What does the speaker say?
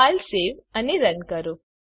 file save અને run કરો